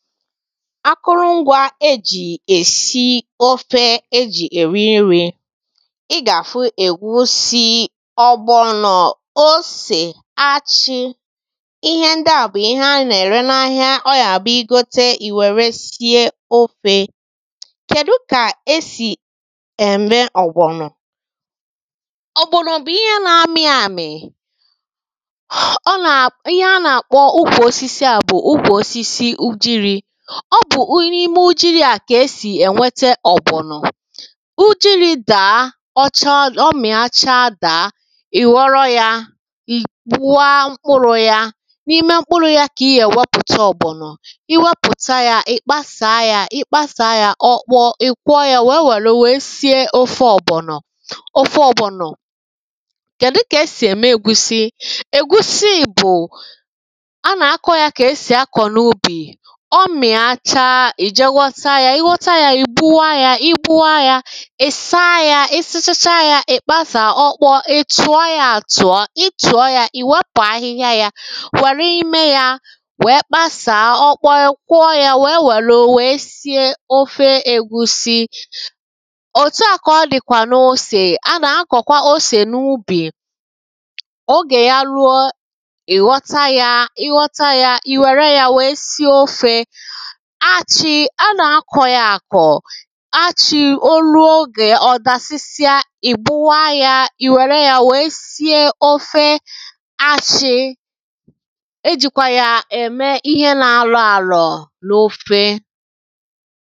akụrụ ngwa ejì èsi ofe e jì èri nrī ị gà-àhụ ègwusi ọ̀gbọ̀nọ̀ osè achị ihe ndi à bù ihe a nà-ère na’ahịa ọ gà-àbụ ị gote ì wère sie ofē kèdu kà esì ème ọ̀gbọ̀nọ̀ ọ̀gbọ̀nọ̀ bù ihe na-ami àmì ihe a nà-àkpọ ukwu osisi à bù ukwù osisi ujurū ọ bù n’ime ujurū à kà esì ènwete ọ̀gbọ̀nọ̀ ujurū dàa ọ chaa ọ mìa chaa dàa ì ghọrọ ya ì kpụa mkpụrụ yā n’ime mkpụrụ ya kà I gà-èwepùta ọ̀gbọ̀nọ̀ I wepùta ya ị̀ kpasàa ya I kpasàa ya ọ kpọọ ì kwọọ ya wèe wère wee sie ofē ọ̀gbọ̀nọ̀ ofē ọ̀gbọ̀nọ̀ kèdu kà e sì ème egwusi egwusi bù a nà-akọ ya kà e sì akọ̀ n’ubì ọ mìa chaa ì jee wọta ya I wọta ya ì kpụọ ya I kpụọ ya Ì saa ya ị sachachaa ya Ì kpàsaa ọ kpọọ ì tùọ ya àtùọ ì tùọ ya ì wepù ahịhịa ya wère ime ya wèe kpasàa ọ kpọọ ì kwọ ya wèe wère wèe sie ofē egwusi òtu à kà ọ dịkwà n’osè a nà-akọ̀kwa osè n’ubì ogè ya ruo ì ghọ̀ta ya ị ghọta ya ì wère ya wèe sie ofē achị a nà-akọ ya àkò achị̄ o ruo ogè ò dàsịsịa ì kwụọ ya ì wère ya wèe sie ofē achị̄ ejikwa ya ème ihe na-arò àrọ̀ n’ofē